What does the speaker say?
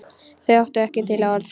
Þau áttu ekki til orð.